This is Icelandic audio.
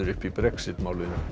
í Brexit